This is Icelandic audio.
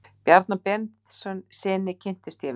Bjarna Benediktssyni kynntist ég vel.